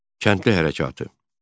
Kəndli hərəkatı.